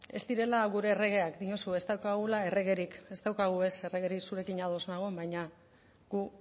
ez direla gure erregeak diozu ez daukagula erregerik ez daukagu ez erregerik zurekin ados nago baina gu